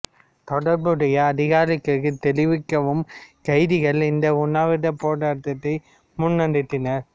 தொடர்புடைய அதிகாரிகளுக்கு தெரிவிக்கவும் கைதிகள் இந்த உண்ணாவிரப் போராட்டத்தை முன்னெடுத்தனர்